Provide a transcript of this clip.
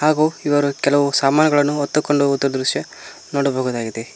ಹಾಗು ಇವರು ಕೆಲವು ಸಾಮಾನುಗಳನ್ನು ಹೊತ್ತುಕೊಂಡು ಹೋಗುವಂತಹ ದೃಶ್ಯ ನೋಡಬಹುದಾಗಿದೆ.